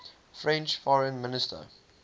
french foreign minister